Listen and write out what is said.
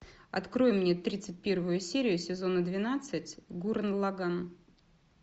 открой мне тридцать первую серию сезона двенадцать гуррен лаганн